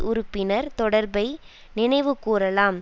உறுப்பினர் தொடர்பை நினைவு கூரலாம்